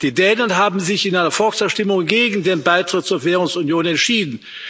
Die Dänen haben sich in einer Volksabstimmung gegen den Beitritt zur Währungsunion entschieden.